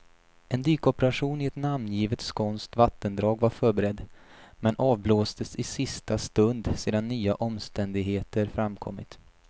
En dykoperation i ett namngivet skånskt vattendrag var förberedd, men avblåstes i sista stund sedan nya omständigheter framkommit.